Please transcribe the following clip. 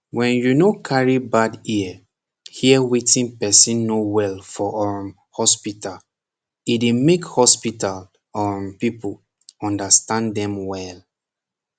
wen you no cari bad ear hia person wey no wel for um hospita e dey make hospital um people understand dem well